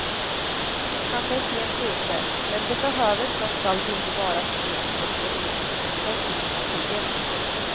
Han är sent ute, men det behöver trots allt inte vara för sent för en förnyelseprocess inom partiet.